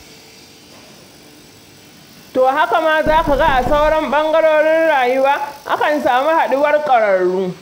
To haka ma za ka ga a sauran ɓangarorin rayuwa, akan samu haɗuwar ƙwararru.